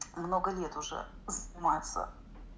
много лет уже занимаются